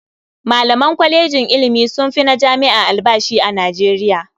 Malaman kwalejin ilimi sun fi na jami'a albashi a Nijeriya.